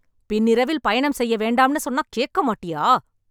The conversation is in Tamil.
பின்னிரவில் பயணம் செய்யவேண்டாம்னு சொன்னா கேக்க மாட்டியா...